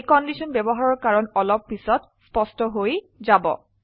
এই কন্ডিশন ব্যবহাৰৰ কাৰণ অলপ পিছত স্পষ্ট হয় যাব